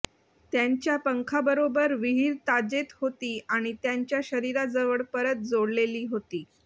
त्यांच्या पंखांबरोबर विहिर ताजेत होती आणि त्यांच्या शरीराजवळ परत जोडलेली होती